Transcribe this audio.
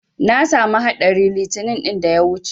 Na samu haɗari 'itinin ɗin da ta wuce.